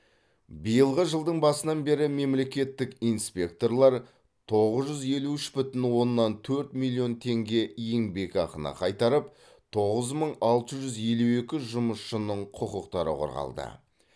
биылғы жылдың басынан бері мемлекеттік инспекторлар тоғыз жүз елу үш бүтін оннан төрт миллион теңге еңбекақыны қайтарып тоғыз мың алты жүз елу екі жұмысшының құқықтары қорғалды